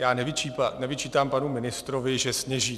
Já nevyčítám panu ministrovi, že sněží.